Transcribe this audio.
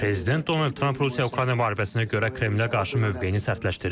Prezident Donald Tramp Rusiya-Ukrayna müharibəsinə görə Kremlə qarşı mövqeyini sərtləşdirir.